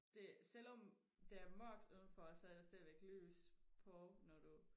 det selvom det er mørkt udenfor så er der stadigvæk lys på når du